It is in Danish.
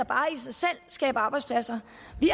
bare i sig selv skaber arbejdspladser